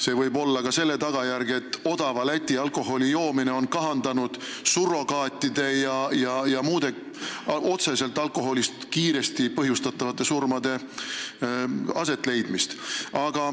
See võib olla tingitud ka sellest, et odava Läti alkoholi joomine on kahandanud surrogaatide kasutamist ja otseselt alkoholist põhjustatud kiirete surmade asetleidmist.